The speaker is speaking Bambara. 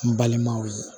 N balimaw ye